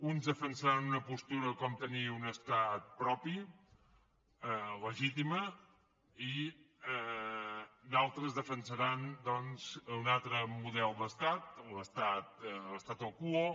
uns defensaran una postura com tenir un estat propi legítima i d’altres defensaran un altre model d’estat l’tu quo